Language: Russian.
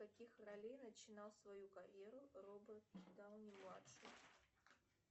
с каких ролей начинал свою карьеру роберт дауни младший